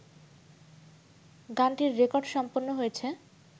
গানটির রেকর্ড সম্পন্ন হয়েছে